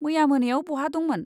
मैया मोनायाव बहा दंमोन?